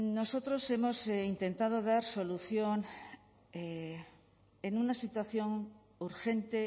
nosotros hemos intentado dar solución en una situación urgente